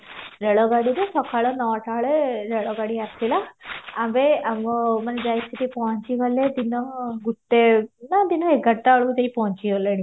ରେଳ ଗାଡିରେ ସକାଳ ନଅଟା ବେଳେ ରେଳ ଗାଡି ଆସିଲା ଆମେ ଆମ ମାନେ ଯାଇକି ସେହତି ପହଞ୍ଚିଗଲେ ଦିନ ଗୋଟେ ନାଁ ଦିନ ଏଗାରଟା ବେଳକୁ ଯାଇକି ପହଞ୍ଚିଗଲେଣି